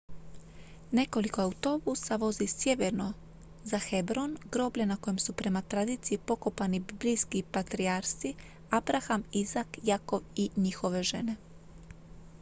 nekoliko autobusa vozi sjeverno za hebron groblje na kojem su prema tradiciji pokopani biblijski patrijarsi abraham izak jakov i njihove žene